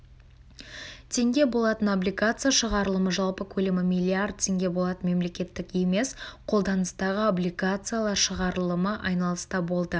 теңге болатын облигация шығарылымы жалпы көлемі млрд теңге болатын мемлекеттік емес қолданыстағы облигациялар шығарылымы айналыста болды